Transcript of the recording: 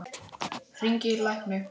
Hringi í lækni.